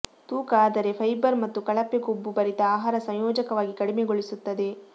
ತೂಕ ಆದರೆ ಫೈಬರ್ ಮತ್ತು ಕಳಪೆ ಕೊಬ್ಬು ಭರಿತ ಆಹಾರ ಸಂಯೋಜಕವಾಗಿ ಕಡಿಮೆಗೊಳಿಸುತ್ತದೆ